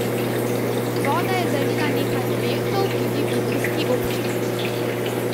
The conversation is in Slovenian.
Voda je zalila nekaj objektov tudi v idrijski občini.